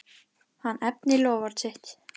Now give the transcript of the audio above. Hann efnir loforð sitt.